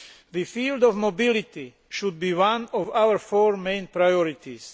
The field of mobility should be one of our four main priorities.